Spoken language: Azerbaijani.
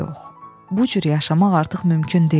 Yox, bu cür yaşamaq artıq mümkün deyil.